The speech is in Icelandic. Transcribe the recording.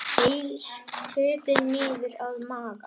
Þeir krupu niður að Magga.